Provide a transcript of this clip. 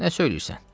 Nə söyləyirsən?